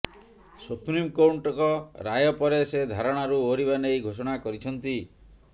ସୁପ୍ରିମକୋର୍ଟଙ୍କ ରାୟ ପରେ ସେ ଧାରଣାରୁ ଓହରିବା ନେଇ ଘୋଷଣା କରିଛନ୍ତି